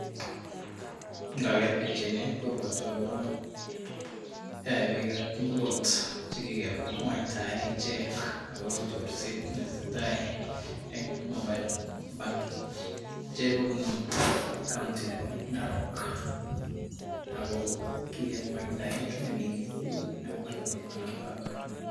Ngaker pichaini kobwotwo akobo bik ab mulot chekikemwaitaen akobo chorset ab robinik eng narok